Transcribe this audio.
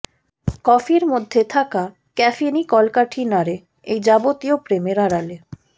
কফির মধ্যে থাকা ক্যাফেনই কলকাঠি নাড়ে এই যাবতীয় প্রেমের আড়ালে